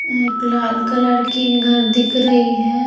अं एक लाल कलर की घर दिख रही है।